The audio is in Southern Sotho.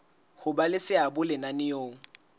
ho ba le seabo lenaneong